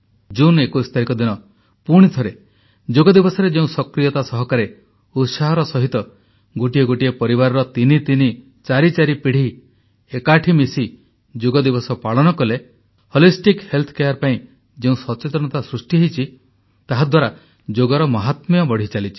ଜୁନ 21 ତାରିଖ ଦିନ ପୁଣି ଥରେ ଯୋଗଦିବସରେ ଯେଉଁ ସକ୍ରିୟତା ସହକାରେ ଉତ୍ସାହର ସହିତ ଗୋଟିଏ ଗୋଟିଏ ପରିବାରର ତିନି ତିନି ଚାରି ଚାରି ପୀଢ଼ି ଏକାଠି ମିଶି ଯୋଗଦିବସ ପାଳନ କଲେ ଏହାଦ୍ୱାରା ସଚେତନତା ସୃଷ୍ଟି ହୋଇଛି ଯୋଗର ମାହାତ୍ମ୍ୟ ବଢ଼ିଚାଲିଛି